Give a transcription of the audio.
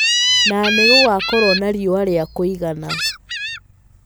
Na nĩ gũgakorũo na riũa rĩa kũigana.